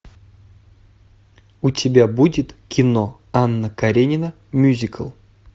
у тебя будет кино анна каренина мюзикл